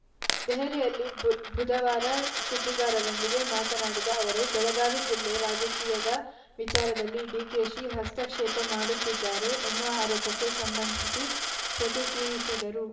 ದೆಹಲಿಯಲ್ಲಿ ಬು ಭುಧವಾರ ಸುದ್ದಿಗಾರರೊಂದಿಗೆ ಮಾತನಾಡಿದ ಅವರು ಬೆಳಗಾವಿ ಜಿಲ್ಲೆ ರಾಜಕೀಯದ ವಿಚಾರದಲ್ಲಿ ಡಿಕೆಶಿ ಹಸ್ತಕ್ಷೇಪ ಮಾಡುತ್ತಿದ್ದಾರೆ ಎನ್ನುವ ಆರೋಪಕ್ಕೆ ಸಂಬಂಧಿಸಿ ಪ್ರತಿಕ್ರಿಯಿಸಿದರು